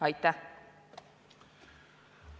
Aitäh!